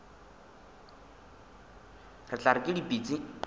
re tla re ke dipitsi